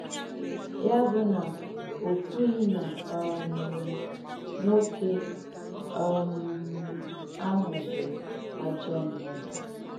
Yà bụ̀ nà ò kwùghị́ nà um nwókè um àhụ̀ bụ̀ àjọọ̀ mmádù.